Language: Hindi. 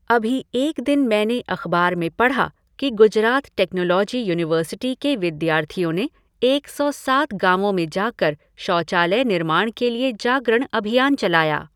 अभी एक दिन मैंने अख़बार में पढ़ा कि गुजरात टेक्नोलॉजी यूनिवर्सिटी के विद्यार्थियों ने एक सौ सात गाँवों में जाकर शौचालय निर्माण के लिये जागरण अभियान चलाया।